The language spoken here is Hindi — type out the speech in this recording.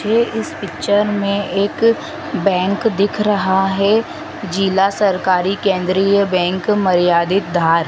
ये इस पिक्चर में एक बैंक दिख रहा है जिला सरकारी केंद्रीय बैंक मर्यादित धार।